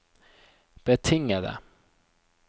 betingede